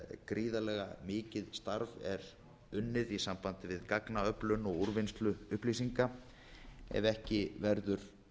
sem gríðarlega mikið starf er unnið í sambandi við gagnaöflun og úrvinnslu upplýsinga ef ekki verður